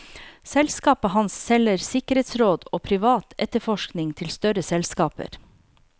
Selskapet hans selger sikkerhetsråd og privat etterforskning til større selskaper.